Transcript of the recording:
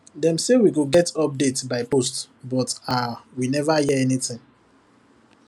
dem say we go get update by post but um we never hear anything